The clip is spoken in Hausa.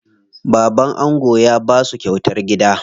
Baban ango ya basu kyautar gida.